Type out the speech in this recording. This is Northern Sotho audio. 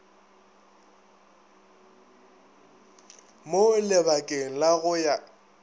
mo labakeng la go ya